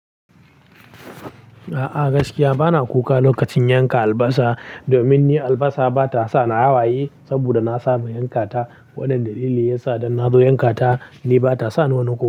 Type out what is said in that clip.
A'a gaskiya bana kuka lokacin yanka albasa domin ni albasa ba ta sa ni hawaye saboda na saba yankata. Wannan dalili ya sa idan na zo yankata ni ba ta sa ni wani kuka.